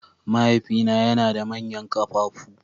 Mahaifina yana da manyan ƙafafu.